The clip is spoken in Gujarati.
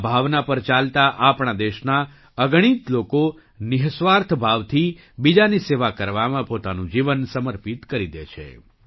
આ ભાવના પર ચાલતા આપણા દેશના અગણિત લોકો નિઃસ્વાર્થ ભાવથી બીજાની સેવા કરવામાં પોતાનું જીવન સમર્પિત કરી દે છે